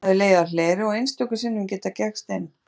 Hann hafði legið á hleri og einstöku sinnum getað gægst inn.